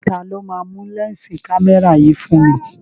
Taló máa nu lẹ́ǹsì kámẹ́rà yìí fún mi?